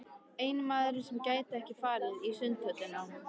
Eini maðurinn sem gæti ekki farið í Sundhöllina.